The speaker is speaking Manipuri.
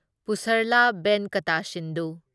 ꯄꯨꯁꯔꯂꯥ ꯚꯦꯟꯀꯇꯥ ꯁꯤꯟꯙꯨ